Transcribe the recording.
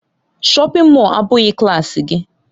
Shọpin Mọll a abụghị klaasị gị.